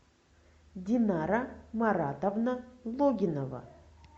динара маратовна логинова